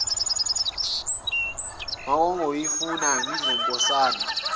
bengiyokufa ngidelile nkosazana